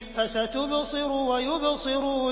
فَسَتُبْصِرُ وَيُبْصِرُونَ